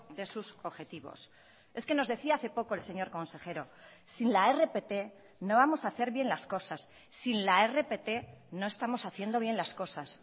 de sus objetivos es que nos decía hace poco el señor consejero sin la rpt no vamos a hacer bien las cosas sin la rpt no estamos haciendo bien las cosas